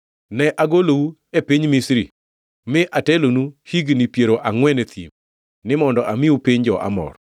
Ne agolou e piny Misri, mi atelonu higni piero angʼwen e thim, ni mondo amiu piny jo-Amor.